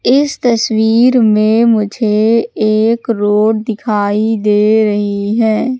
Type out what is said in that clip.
इस तस्वीर में मुझे एक रोड दिखाई दे रही है।